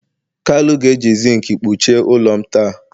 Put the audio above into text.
kalu ga-eji zinc kpuchie ụlọ m taa